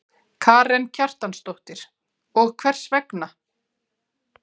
Karen Kjartansdóttir: Og hvers vegna?